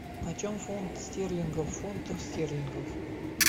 почем фунт стерлингов в фунтах стерлингов